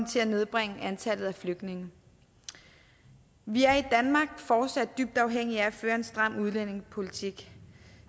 til at nedbringe antallet af flygtninge vi er i danmark fortsat dybt afhængige af at føre en stram udlændingepolitik